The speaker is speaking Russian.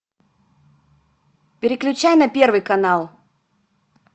переключай на первый канал